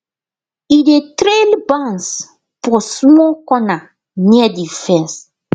e dey trail bans for small corner near the fence